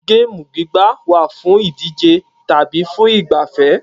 Géèmù gbígbá wà fún ìdíje tàbí fún ìgbafẹ́